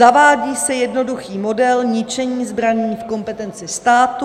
Zavádí se jednoduchý model ničení zbraní v kompetenci státu.